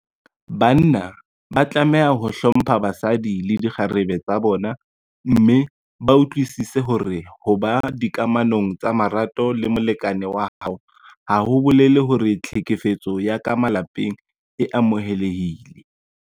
Banna ba tlameha ho hlompha basadi le dikgarebe tsa bona mme ba utlwisise hore ho ba dikamanong tsa marato le molekane wa hao ha ho bolele hore tlhekefetso ya ka malapeng e amohelehile.